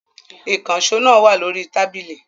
Ìkànṣó náà wà lórí tábìlì.